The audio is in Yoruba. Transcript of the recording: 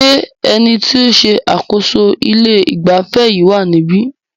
Ṣé ẹni tí o ń ṣe àkóso ilé ìgbafẹ́ yìí wá níbí?